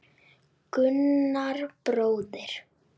Gunnar bróðir.